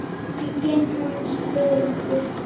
Bíllinn hans bilaði.